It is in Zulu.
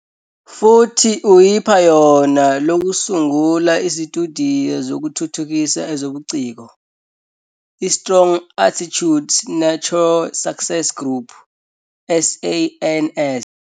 Futhi uyiphayona lokusungula isitudiyo sokuthuthukisa ezobuciko, iStrong Attitudes Nurture Success Group, SANS.